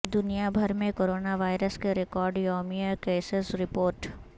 دنیا بھر میں کرونا وائرس کے ریکارڈ یومیہ کیسز رپورٹ